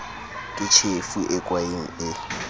ke tjhefo e kwaeng e